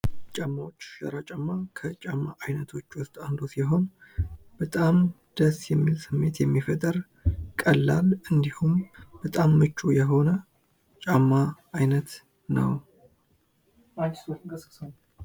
ጫማዎች :- ሸራ ጫማ ከጫማ አይነቶች ዉስጥ አንዱ ሲሆን ፤ በጣም ደስ የሚል ስሜት የሚፈጥር ፣ በጣም ቀላል፣ እንዲሁም በጣም ምቹ የሆነ ነው።